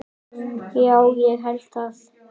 Já, ég held það.